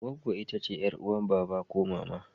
Gwaggo itace yar'uwan baba ko mama.